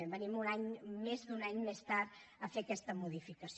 venim més d’un any més tard a fer aquesta modificació